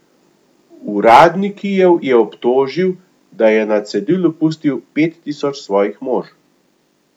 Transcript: Uradni Kijev je obtožil, da je na cedilu pustil pet tisoč svojih mož.